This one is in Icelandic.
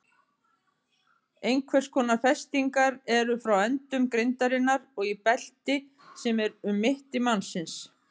Einhvers konar festingar eru frá endum grindarinnar og í belti sem er um mitti mannsins.